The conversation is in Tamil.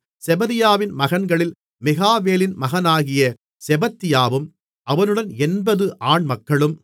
செபதியாவின் மகன்களில் மிகாவேலின் மகனாகிய செபத்தியாவும் அவனுடன் 80 ஆண்மக்களும்